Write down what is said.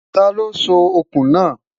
tá ló sọ òkun na?